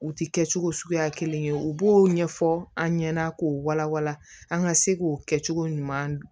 U ti kɛ cogo suguya kelen ye u b'o ɲɛfɔ an ɲɛna k'o wala wala an ka se k'o kɛ cogo ɲuman